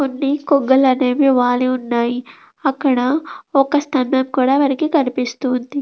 కొన్ని కొంగలు అనేవి వాలీ ఉన్నాయి అక్కడ ఒక స్తంభం కూడా మనకి కనిపిస్తూ ఉంది.